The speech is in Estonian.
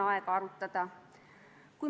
Otsus on vastu võetud.